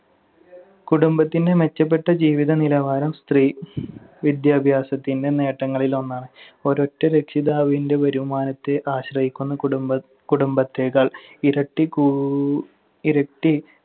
കുടുംബത്തിന്‍റെ മെച്ചപ്പെട്ട ജീവിതനിലവാരം സ്ത്രീ വിദ്യാഭ്യാസത്തിന്‍റെ നേട്ടങ്ങളിലൊന്നാണ്. ഒരൊറ്റ രക്ഷിതാവിന്‍റെ വരുമാനത്തെ ആശ്രയിക്കുന്ന കുടുംബ~ കുടുംബത്തേക്കാൾ ഇരട്ടി~ കൂ~ ഇരട്ടി